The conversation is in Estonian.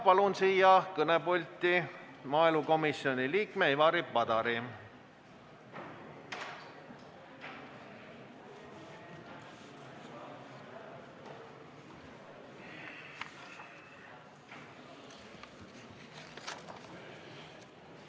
Palun siia kõnepulti maaelukomisjoni liikme Ivari Padari!